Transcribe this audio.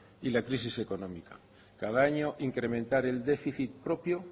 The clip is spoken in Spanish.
y la crisis económica cada año incrementar el déficit propio